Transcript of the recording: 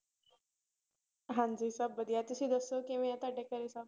ਹਾਂਜੀ ਸਭ ਵਧੀਆ ਤੁਸੀਂ ਦੱਸੋ ਕਿਵੇਂ ਆਂ ਤੁਹਾਡੇ ਘਰੇ ਸਭ?